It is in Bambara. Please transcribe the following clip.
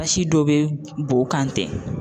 Basi dɔ be bɔn kan ten.